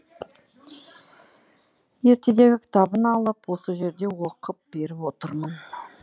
ертедегі кітабын алып осы жерде оқып беріп отырмын